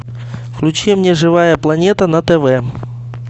включи мне живая планета на тв